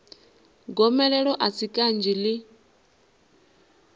gomelelo a si kanzhi i